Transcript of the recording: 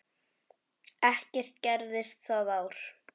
Ekkert gerðist það ár.